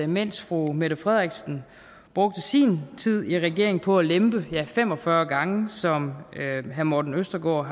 mens fru mette frederiksen brugte sin tid i regeringen på at lempe ja fem og fyrre gange som herre morten østergaard